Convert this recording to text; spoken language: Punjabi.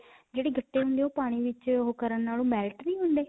ਜਿਹੜੇ ਗੱਟੇ ਹੁੰਦੇ, ਉਹ ਪਾਣੀ ਵਿੱਚ ਉਹ ਕਰਨ ਨਾਲ ਓਹ ਮੈਲੇ ਤਾਂ ਨਹੀਂ ਹੁੰਦੇ?